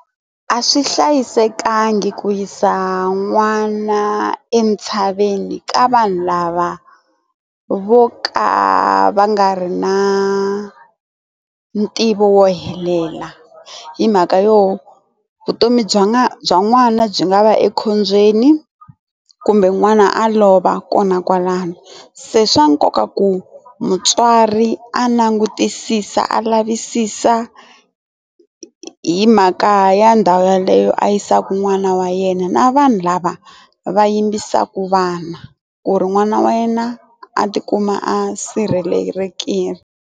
A swi hlayisekangi ku yisa n'wana entshaveni ka vanhu lava vo ka va nga ri na ntivo wo helela hi mhaka yo vutomi bya nga bya n'wana byi nga va ekhombyeni kumbe n'wana a lova kona kwalano se swa nkoka ku mutswari a langutisisa a lavisisa hi mhaka ya ndhawu yeleyo a yisaka n'wana wa yena na vanhu lava va yimbisaka vana ku ri n'wana wa yena a tikuma a sirhelelekile.